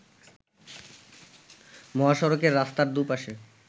মহাসড়কের রাস্তার দু’পাশে